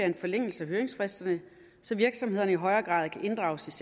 en forlængelse af høringsfristerne så virksomhederne i højere grad kan inddrages